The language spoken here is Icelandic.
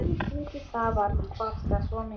Það var kvartað svo mikið.